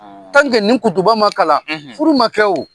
nin kutuba ma kalan , furu ma kɛ o.